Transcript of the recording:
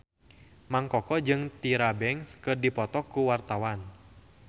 Mang Koko jeung Tyra Banks keur dipoto ku wartawan